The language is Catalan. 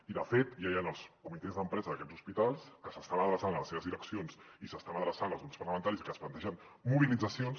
i de fet ja hi han els comitès d’empresa d’aquests hospitals que s’estan adreçant a les seves direccions i s’estan adreçant als grups parlamentaris i que es plantegen mobilitzacions